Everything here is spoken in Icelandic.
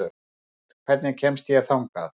Gerald, hvernig kemst ég þangað?